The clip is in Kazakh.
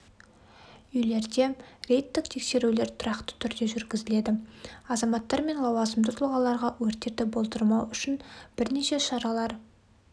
үйлерде рейдтік тексерулер тұрақты түрде жүргізіледі азаматтар мен лауазымды тұлғаларға өрттерді болдырмау үшін бірнеше шаралар